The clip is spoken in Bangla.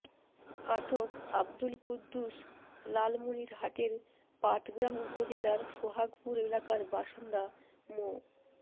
আটক আব্দুল কুদ্দুস লালমনিরহাটের পাটগ্রাম উপজেলার সোহাগপুর এলাকার বাসিন্দা মো